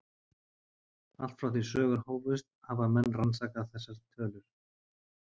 Allt frá því sögur hófust hafa menn rannsakað þessar tölur.